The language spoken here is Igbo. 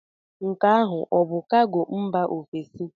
Nke ahụ ọ bụ kago mba ofesi?